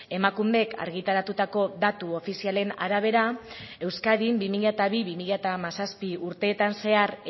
emakundek argitaratutako datu ofizialen arabera euskadin bi mila bi bi mila hamazazpi urteetan zehar